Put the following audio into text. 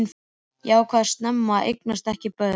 Ég ákvað snemma að eignast ekki börn.